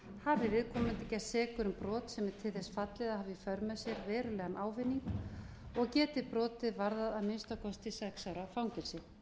hafi viðkomandi gerst sekur um brot sem er til þess fallið að hafa í för með sér verulegan ávinning og geti brotið varðað að minnsta kosti sex ára fangelsi